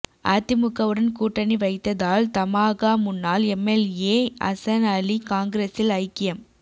அதிமுகவுடன் கூட்டணி வைத்ததால் தமாகா முன்னாள் எம்எல்ஏ அசன்அலி காங்கிரசில் ஐக்கியம்